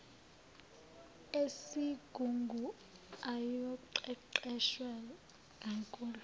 esigungu ayoqeqeshwa kanzulu